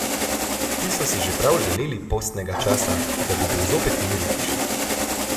Ti so si že prav želeli postnega časa, da bi bil zopet mir v hiši.